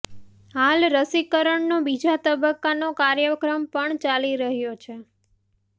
હાલ રસીકરણનો બીજા તબક્કાનો કાર્યક્રમ પણ ચાલી રહ્યો છે